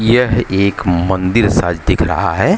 यह एक मंदिर सा दिख रहा है।